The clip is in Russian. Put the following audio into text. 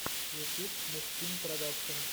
ютюб мухсин продакшен